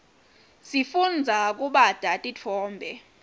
sifundza kubata titfombe